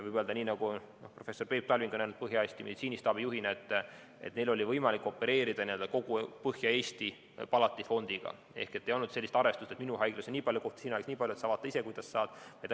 Võib öelda, nii nagu professor Peep Talving on öelnud Põhja meditsiinistaabi juhina, et neil oli võimalik opereerida kogu Põhja-Eesti palatifondiga ehk ei olnud sellist arvestust, et minu haiglas on nii palju kohti, sinu haiglas nii palju, sa vaata ise, kuidas sa saad.